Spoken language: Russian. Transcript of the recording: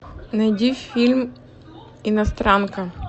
найди фильм иностранка